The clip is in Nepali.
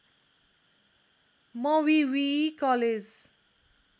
मवीवीई कलेज